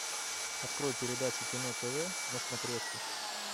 открой передачу кино тв на смотрешке